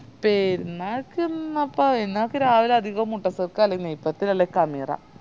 പെരുന്നാക്കെല്ലാം ന്നപ്പാ പെരുന്നാക്ക് രാവിലെ അധികോം മുട്ട cake അല്ലെങ്കി നെയ്പ്പത്തല് അല്ലെ കനിറ